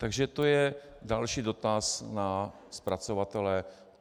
Takže to je další dotaz na zpracovatele.